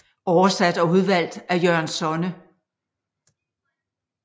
Oversat og udvalgt af Jørgen Sonne